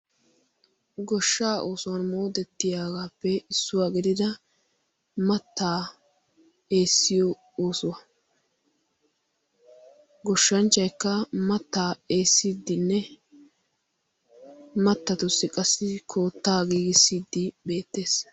goshshaa oosuwan moodettiyaagaappe issuwaa gedida mattaa eessiyo oosuwaa goshshanchchaykka mattaa eessiiddinne mattatussi qassi koottaa giigissiiddi beettees.